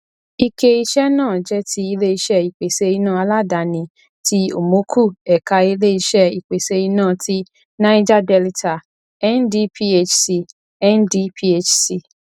ike iṣẹ náà jẹ ti iléiṣé ìpèsè iná aládàáni tí omoku ẹka iléiṣẹ ìpèsè iná tí naija delita ndphc ndphc